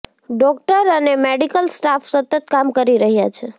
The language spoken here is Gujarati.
ડોકટર અને મેડિકલ સ્ટાફ સતત કામ કરી રહ્યા છે